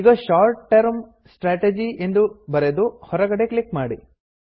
ಈಗ short term strategy ಎಂದು ಬರೆದು ಹೊರಗಡೆ ಕ್ಲಿಕ್ ಮಾಡಿ